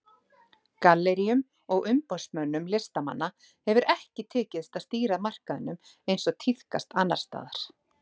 Galleríum og umboðsmönnum listamanna hefur ekki tekist að stýra markaðnum eins og tíðkast annars staðar.